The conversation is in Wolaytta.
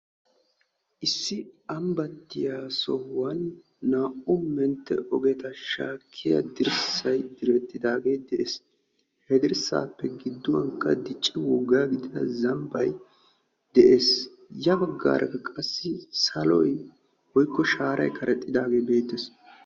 issi ambbattiya sohuwan naa"u mentte ogeta shaakkiya dirssay direttidaage de'es. he dirssaappe gidduwan qa dicci woggaa gidida zambbay de'es. ya baggarakka qassi saloy woyikko shaaray karexxidaage beettes.